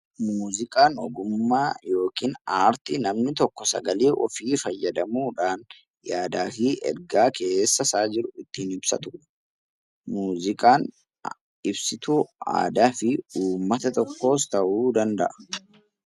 Muuziqaan ogummaa yookiin aartii namni tokko sagalee ofii fayyadamuu dhaan yaadaa fi ergaa keessa isaa jiru ittiin ibsatu dha. Muuziqaan ibsituu fi aadaa uummata tokkoos ta'uu danda'a.